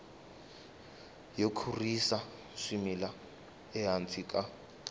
yo kurisa swimila ehansi ka